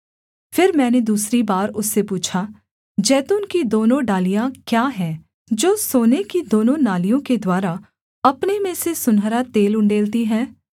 फिर मैंने दूसरी बार उससे पूछा जैतून की दोनों डालियाँ क्या हैं जो सोने की दोनों नालियों के द्वारा अपने में से सुनहरा तेल उण्डेलती हैं